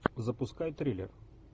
запускай триллер